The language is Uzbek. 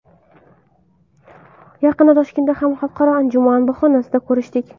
Yaqinda Toshkentda ham xalqaro anjuman bahonasida ko‘rishdik.